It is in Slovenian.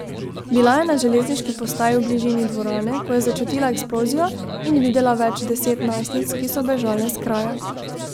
Bila je na železniški postaji v bližini dvorane, ko je začutila eksplozijo in videla več deset najstnic, ki so bežale s kraja.